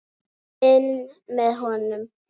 Finn með honum.